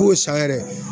K'o san yɛrɛ